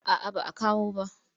A'a ba a kawo ba.